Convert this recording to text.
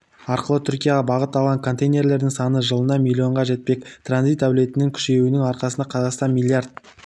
арқылы түркияға бағыт алған контейнерлердің саны жылына млн-ға жетпек транзит әлеуетінің күшеюінің арқасында қазақстан млрд